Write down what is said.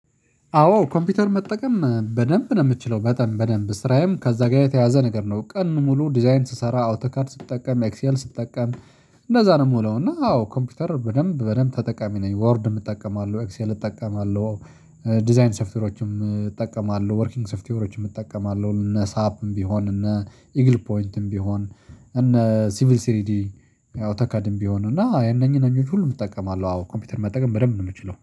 አዎ ኮምፒውተር መጠቀም በደንብ ነው የምትችለው በደንብ በደንብ ስራዬም ከዛ ጋር የተያያዘ ነገር ነው ቀን ሙሉ ዲዛይን ስሰራ አውተካርድ ስትጠቀም ኤክሴል ስትጠቀም እንደዛ ነው የምውለው። እና አዎ ኮምፒውተር በደንብ በደንብ ተጠቃሚ ነኝ ወርድ እጠቀማለሁ ኤክሴል እጠቀማለሁ። ዲዛይን ሶፍትየሮችም እጠቀማለሁ ወርኪንግ ሶፍቲዮሮችም እጠቀማለሁ እነ ሳፕም ቢሆን እነ ኢግል ፖይንትም ቢሆን እነ ሲቪል ሲሪዲ አውተካድም ቢሆን እና ያነኝ ያነኙን ሁሉ እጠቀማለሁ። አዎ ኮምፒውተር መጠቀም በደንብ ነው የምችለው